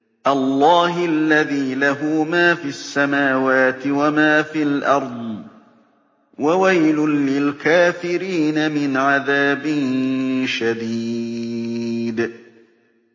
اللَّهِ الَّذِي لَهُ مَا فِي السَّمَاوَاتِ وَمَا فِي الْأَرْضِ ۗ وَوَيْلٌ لِّلْكَافِرِينَ مِنْ عَذَابٍ شَدِيدٍ